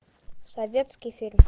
советский фильм